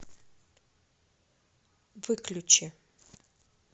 выключи